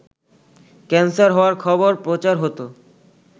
cancer হওয়ার খবর প্রচার হতো